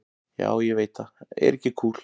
Já, ég veit það er ekki kúl.